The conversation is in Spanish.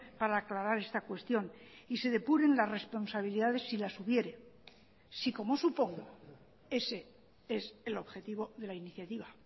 para aclarar esta cuestión y se depuren las responsabilidades si las hubiere si como supongo ese es el objetivo de la iniciativa